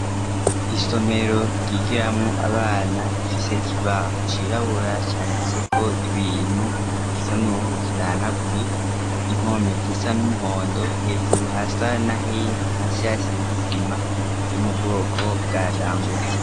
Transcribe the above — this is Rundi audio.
Isomero ryigiramwo abana rifise ikibaho cirabura canditseko ibintu gisa nkaho kidahanaguye , impome zisa n'umuhondo, hejuru hasa n'ahera, hasi hasiz'isima yo mubwoko bwa Dangote.